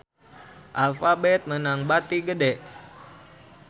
Alphabet meunang bati gede